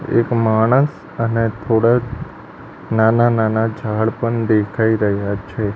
એક માણસ અને થોડાક નાના નાના ઝાડ પણ દેખાય રહ્યા છે.